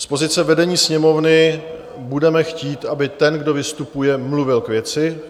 Z pozice vedení Sněmovny budeme chtít, aby ten, kdo vystupuje, mluvil k věci.